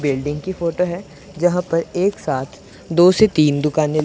building की photo है जहां पर एक साथ दो से तीन दुकाने--